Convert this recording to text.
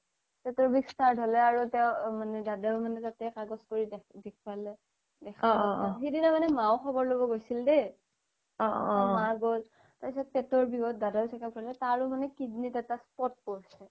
পেতৰ বিস start হ'লে আৰু দাদাও মানে তাতে কাগ্জ কৰি দেখুৱালে সিদিনা মানে মাও খবৰ ল্'ব গৈছিল দেই মা গ্'ল পেতৰ বিসত দাদাও checkup কৰিলে তাৰো মানে kidney এটা spot পৰিচে